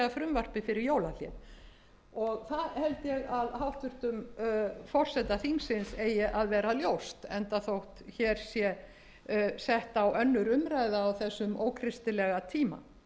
frumvarpið fyrir jólahlé og það held ég að hæstvirtum forseta þingsins eigi að vera ljóst enda þótt hér sé sett á aðra umræðu á þessum ókristilega tíma